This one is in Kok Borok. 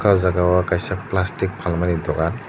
oh jagao kaisa plastic phalmani dukan.